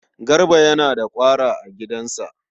Garba yana da ƙwara a gidansa.